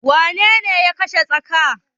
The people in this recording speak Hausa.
Wanene ya kashe tsakar?